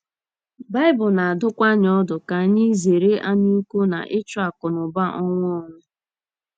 Baịbụl na - adụkwa anyị ọdụ ka anyị zere anyaukwu na ịchụ akụnụba ọnwụ ọnwụ.